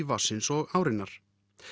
vatnsins og árinnar